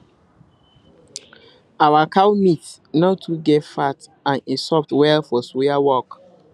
our cow meat no too get fat and e soft well for suya work